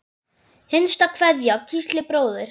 Hinsta kveðja, Gísli bróðir.